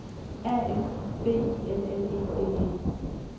A F B I L L E D E